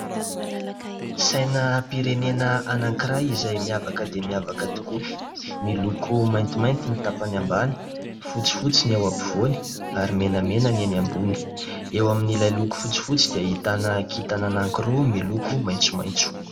Sainam-pirenena anankiray izay miavaka dia miavaka tokoa, miloko maintimainty ny tapany ambany, fotsifotsy ny eo ampovoany ary menamena ny eny ambony ; eo amin'ilay loko fotsifotsy dia ahitana kintana anankiroa miloko maitsomaitso.